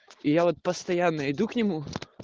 я вот постоянно иду к нему